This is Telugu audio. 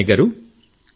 పట్నాయక్ గారూ